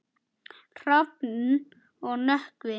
Hrafn og Nökkvi.